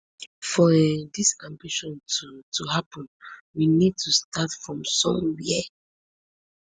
for um dis ambition to to happun we need to start from somwia